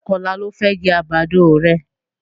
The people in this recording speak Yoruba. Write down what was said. Ṣé ọ̀la lo fẹ́ jẹ́ àgbàdo rẹ?